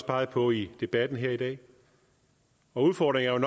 peget på i debatten her i dag udfordringerne